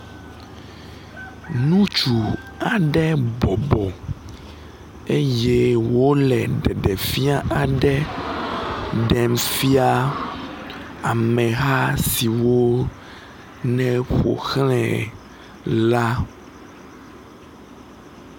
nutsu aɖe bɔbɔ eye wóle ɖeɖefia aɖe ɖem fia ameha siwó ne ƒoxlãe la